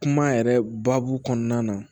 Kuma yɛrɛ baabu kɔnɔna na